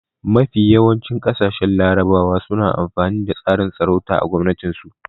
Mafi yawancin ƙasashen larabawa suna amfani da tsarin sarauta a gwamnatin su